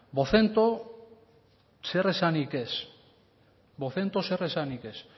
vocento zer esanik ez vocento zer esanik ez